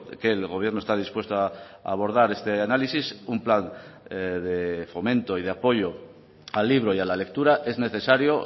que el gobierno está dispuesto a abordar este análisis un plan de fomento y de apoyo al libro y a la lectura es necesario